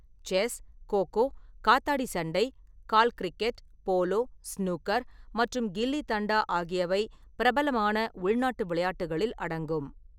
Chess, kho kho, காத்தாடி-சண்டை, கால் cricket, polo, snooker மற்றும் கில்லி-தண்டா ஆகியவை பிரபலமான உள்நாட்டு விளையாட்டுகளில் அடங்கும்.